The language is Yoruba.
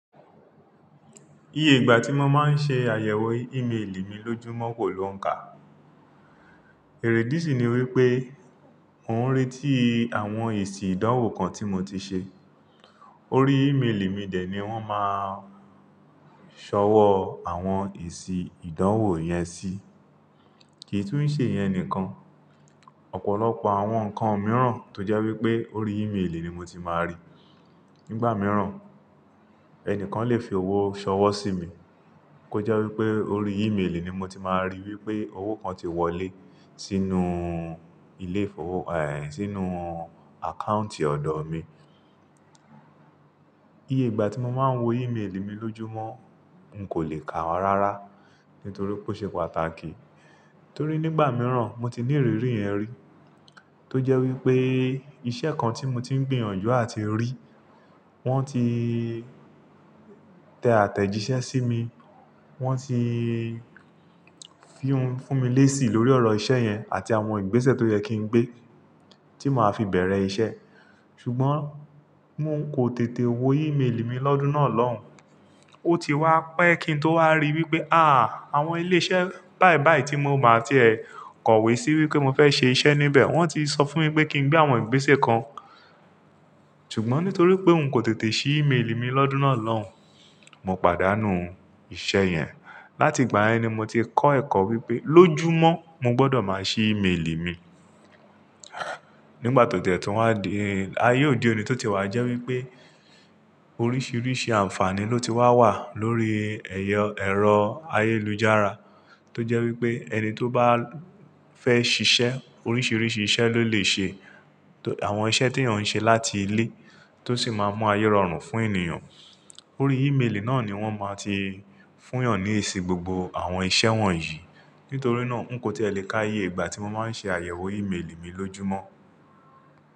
Iye ìgbà tí mo máa ń ṣe àyẹ̀wò ímélì mi lójúmọ́ kò lo n kà. Èrèdí sì ni wípé mò ń retí àwọn èsì ìdánwò kan tí mo ti ṣe. Orí ímélì mi dè ní wọ́n máa ṣọwọ́ àwọn èsì ìdánwò yẹn sí. Kì í tún ṣe iyen nìkan. Ọ̀pọ̀lọpọ̀ àwọn ǹkan mìíràn tó jẹ́ wípé orí ímélì ni mo ti máa rí. Nígbà mìíràn, ẹnìkan lè fi owó ṣọwọ́ sí mi, kó jẹ́ wípé orí ímélì ni mo ti máa rí wípé owó kan ti wọlé sínú ilé ìfowó, ẹ sínú àkántì ọ̀dọ̀ mi. Iye ìgbà tí mo máa ń wo ímélì mi lójúmọ́ n kò lè kà rárá, nítorí pé ó ṣe pàtàkì. Torí nígbà mìíràn mo ti ní ìrírí yẹn rí, tó jẹ́ wípé iṣẹ́ kan tí mo ti ń gbìyànjú àti rí, wọ́n ti tẹ àtẹ̀jíṣẹ́ sí mi, wọ́n ti fún mi lésì lórí ọ̀rọ̀ iṣẹ́ yẹn àti àwọn ìgbésẹ̀ tó yẹ kí n gbé tí màá fi bẹ̀rẹ̀ iṣẹ́. Ṣùgbọ́n un ń kò tètè wo ímélì mi lọ́dún náà lọ́hùn, ó ti wá pẹ́ kí n tó wá ríi wípé àa awon ilé iṣẹ́ báì báì tí mo bà tí ẹ kọ̀wé sí wípé mo fẹ́ ṣe iṣẹ́ níbẹ̀ wọ́n ti sọ fún mi pé kí n gbé àwọn ìgbésẹ̀ kan. Ṣùgbọ́n nítorí pé n kò tètè ṣí ímélì mi lọ́dún náà lọ́hùn, mo pàdánù iṣẹ́ yẹn. Láti ìgbà yen ni mo ti kọ́ ẹ̀kọ́ wípé lójúmọ́ mo gbọdọ̀ máa ṣí ímélì mi. Nígbà tò tiẹ̀ tí wa di, ayé òde òní tó tie wá jẹ́ wípé oríṣiríṣi àǹfààní ló ti wá wà lórí ẹ̀yọ, ẹ̀rọ ayélujára, tó jẹ́ wípé ẹni tó bá fẹ́ ṣiṣẹ́ oríṣiríṣi iṣẹ́ ló lè ṣe. Àwọn iṣẹ́ tí eeyan ṣe láti ilé tó sì máa mú ayé rọrùn fún ènìyàn. Orí ímélì náà ni wọ́n máa ti fún yàn ní èsì gbogbo àwọn iṣẹ́ wọn yìí. Nítorí náà n kò ti e le ká iye ìgbà tí mo máa ń ṣe àyẹ̀wò ímélì mi lójúmọ́.